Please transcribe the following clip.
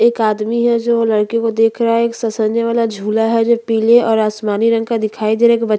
एक आदमी है जो लड़के को देख रहा है एक ससने वाला झुला है जो पीले और आसमानी रंग का दिखाई दे रहा है एक बच्चा --